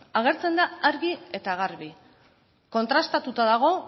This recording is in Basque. agertzen da argi eta garbi kontrastatuta dago